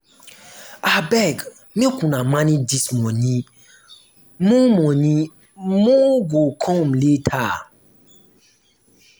abeg make una manage dis money more money more go come later